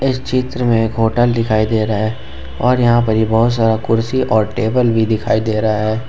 इस चित्र में एक होटल दिखाई दे रहा है और यहां पर यह बहुत सारा कुर्सी और टेबल भी दिखाई दे रहा है ।